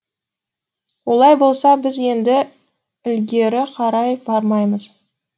олай болса біз енді ілгері қарай бармаймыз